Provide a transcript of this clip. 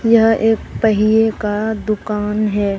यह एक पहिए का दुकान हैं।